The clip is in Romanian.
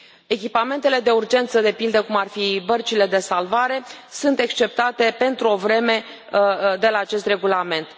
Echipamentele de urgență, de pildă, cum ar fi bărcile de salvare, sunt exceptate pentru o vreme de la acest regulament.